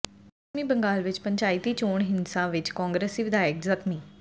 ਪੱਛਮੀ ਬੰਗਾਲ ਵਿੱਚ ਪੰਚਾਇਤੀ ਚੋਣ ਹਿੰਸਾ ਵਿੱਚ ਕਾਂਗਰਸੀ ਵਿਧਾਇਕ ਜ਼ਖ਼ਮੀ